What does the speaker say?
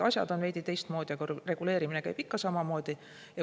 Asjad on veidi teistmoodi, aga reguleerimine käib ikka samamoodi.